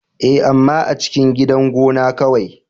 Ee, amma a cikin gidan gona kawai.